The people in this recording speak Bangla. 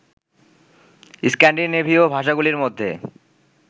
স্ক্যান্ডিনেভীয় ভাষাগুলির মধ্যে